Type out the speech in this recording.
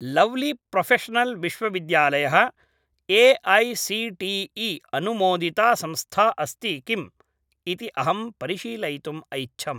Lovely Professional विश्वविद्यालयः AICTE. अनुमोदिता संस्था अस्ति किम् इति अहं परिशीलयितुम् ऐच्छम्।